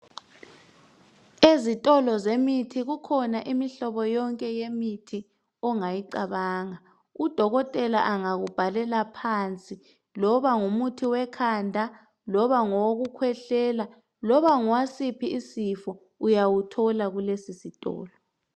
ezitolo zemithi kukhona yonke imihlobo yemithi ongayicabanga udokotela engakubhalela phansi loba ngumuthi we khanda loba ngowokukwehlela loba ngowasiphi isifo uyawuthola kulesi sitolo.